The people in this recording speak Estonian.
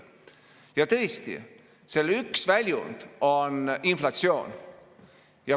Ja tõesti, selle üks väljund on inflatsioon.